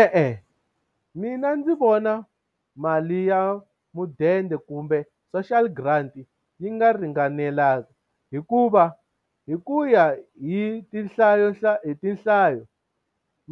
E-e mina ndzi vona mali ya mudende kumbe social grant yi nga ringanelanga hikuva, hi ku ya hi hi hi tinhlayo